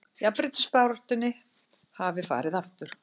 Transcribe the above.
Jafnréttisbaráttunni hafi farið aftur